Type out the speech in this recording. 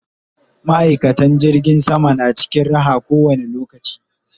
ma'aikatan jirgin sama na cikin Raha ko wani lokaci